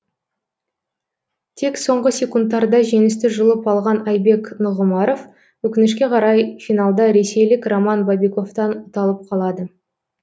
тек соңғы секундтарда жеңісті жұлып алған айбек нұғымаров өкінішке қарай финалда ресейлік роман бобиковтан ұталып қалады